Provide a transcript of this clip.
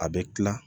A bɛ kila